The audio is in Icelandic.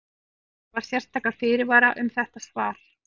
Því verður að hafa sérstaka fyrirvara um þetta svar.